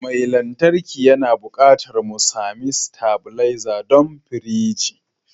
Mai lantarki yana buƙatar mu sami stabilizer don firiji